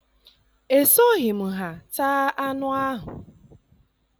Esoghị m ha taa anụ ahụ.